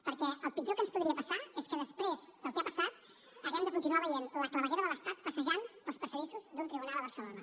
perquè el pitjor que ens podria passar és que després del que ha passat hàgim de continuar veient la claveguera de l’estat passejant pels passadissos d’un tribunal a barcelona